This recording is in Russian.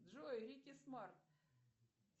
джой рики смарт